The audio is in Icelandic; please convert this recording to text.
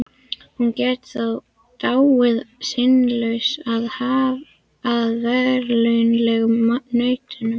Hún gat því dáið syndlaus af veraldlegum nautnum.